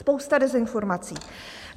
Spousta dezinformací.